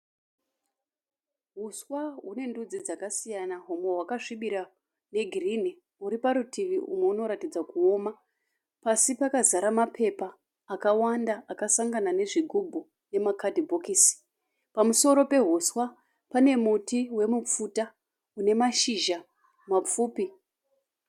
Huswa hune ndudzi dzakasiyana, humwe hwakasvibira hwe girinhi , uri parutivi húmwe unoratidza kuoma. Pasi pakazara mapepa akawanda akasangana ne zvigubhu nema kadhibokisi. Pamusoro pehuswa pane muti wemupfuta une mashizha mapfupi.